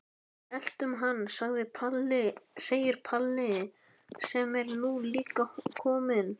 Við eltum hann, segir Palli sem er nú líka kominn.